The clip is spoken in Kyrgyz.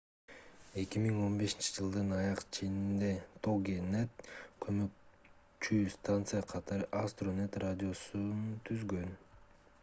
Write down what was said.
2015-жылдын аяк ченинде toginet көмөкчү станция катары astronet радиосун түзгөн